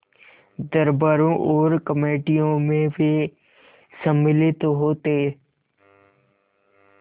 दरबारों और कमेटियों में वे सम्मिलित होते